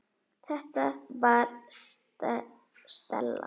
Þetta var Stella.